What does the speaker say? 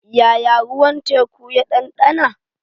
Yaya ruwan teku ya ɗanɗana?